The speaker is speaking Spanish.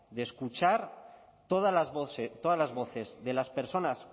de escuchar todas las voces de las personas